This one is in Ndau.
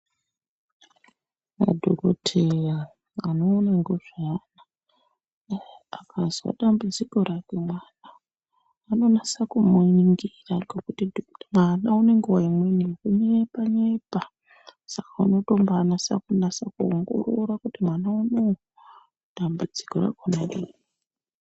Madhokoteya anoona ngezveana akazwa dambudziko rako anonasa kuningira ngekuti mwana ngenguwa imweni yekunyepa nyepa saka anonasa kuningira kuti mwana unou dambudziko rakona ngerei.